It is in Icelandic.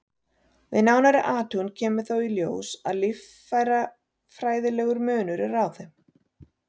Við nánari athugun kemur þó í ljós að líffærafræðilegur munur er á þeim.